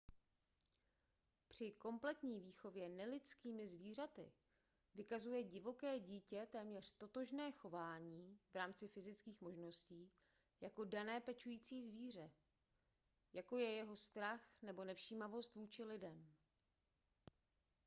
při kompletní výchově nelidskými zvířaty vykazuje divoké dítě téměř totožné chování v rámci fyzických možností jako dané pečující zvíře jako je jeho strach nebo nevšímavost vůči lidem